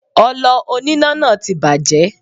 Ọlọ oníná náà ti bàjẹ́.